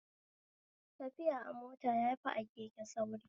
Tafiya a mota yafi a keke sauri